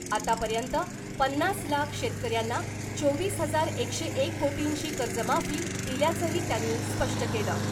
आतापर्यंत पन्नास लाख शेतकऱ्यांना चोवीस हजार एकशे एक कोटींची कर्जमाफी दिल्याचंही त्यांनी स्पष्ट केलं .